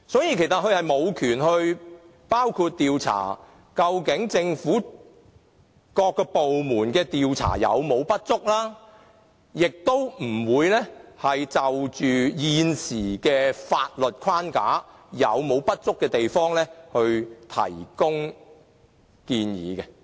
因此，公署無權調查究竟政府各個部門的調查是否不足，也不會就現時法律框架是否有不足之處提供建議。